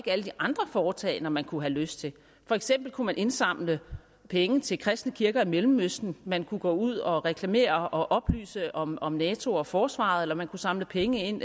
alle de andre foretagender man kunne have lyst til for eksempel kunne man indsamle penge til kristne kirker i mellemøsten man kunne gå ud og reklamere og oplyse om om nato og forsvaret eller man kunne samle penge ind